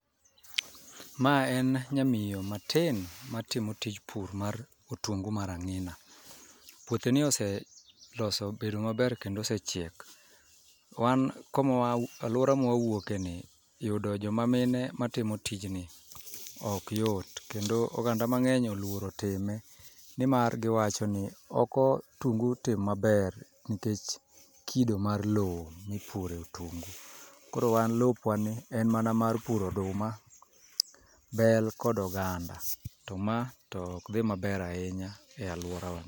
Ma en nyamiyo matin matimo tij pur mar otungu mar ang'ina. Puothe ni ose loso bedo maber kendo osechiek. Wan komawa, alwora mwawuoke ni yudo joma mine ma timo tijni ok yot. Kendo oganda mang'eny oluoro time, nimar giwacho ni okotungu tim maber nikech kido mar lo mipure otungu. Koro wan lopwa ni en mana mar puro oduma, bel kod oganda. To ma to ok dhi maber ahinya e alwora wa.